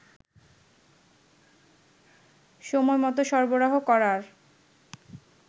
সময়মত সরবরাহ করার